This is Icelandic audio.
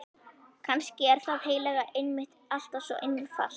Kannski er það heilaga einmitt alltaf svo einfalt.